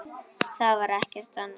Það var ekkert annað.